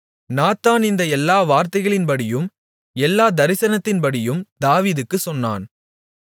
Nathan இந்த எல்லா வார்த்தைகளின்படியும் இந்த எல்லா தரிசனத்தின்படியும் தாவீதுக்கு சொன்னான்